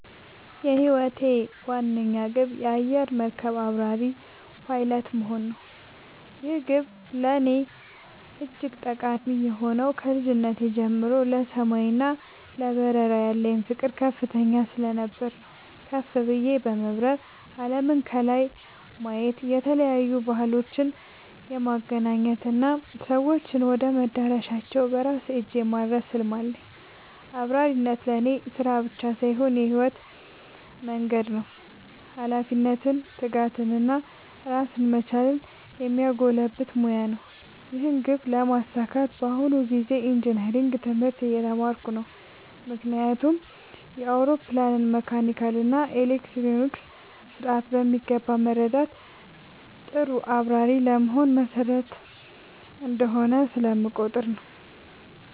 የህይወቴ ዋነኛ ግብ የአየር መርከብ አብራሪ (Pilot) መሆን ነው። ይህ ግብ ለእኔ እጅግ ጠቃሚ የሆነው ከልጅነቴ ጀምሮ ለሰማይ እና ለበረራ ያለኝ ፍቅር ከፍተኛ ስለነበር ነው። ከፍ ብዬ በመብረር አለምን ከላይ የማየት፣ የተለያዩ ባህሎችን የማገናኘት እና ሰዎችን ወደ መዳረሻቸው በራሴ እጅ የማድረስ ህልም አለኝ። አብራሪነት ለእኔ ስራ ብቻ ሳይሆን የህይወት መንገዴ ነው - ኃላፊነትን፣ ትጋትን እና ራስን መቻልን የሚያጎለብት ሙያ ነው። ይህን ግብ ለማሳካት በአሁኑ ጊዜ ኢንጂነሪንግ (Engineering) ትምህርት እየተማርኩ ነው። ምክንያቱም የአውሮፕላንን መካኒካል እና ኤሌክትሮኒክስ ስርዓት በሚገባ መረዳት ጥሩ አብራሪ ለመሆን መሰረታዊ እንደሆነ ስለምቆጠር ነው።